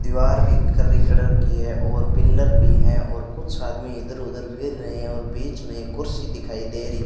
दीवार भी कर्री करड़ की है और पिल्लर भी है और कुछ आदमी इधर उधर फिर रहे हैं और बीच में एक कुर्सी दिखाई दे रही--